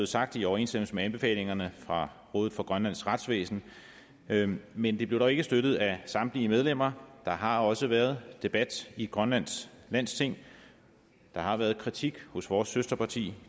sagt i overensstemmelse med anbefalingerne fra rådet for grønlands retsvæsen men men det blev dog ikke støttet af samtlige medlemmer der har også været debat om i grønlands landsting der har været kritik fra vores søsterparti